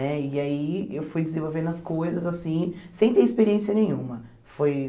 Né e aí eu fui desenvolvendo as coisas assim, sem ter experiência nenhuma. Foi